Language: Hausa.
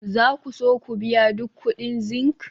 za ku so ku biya duk kuɗin zinc?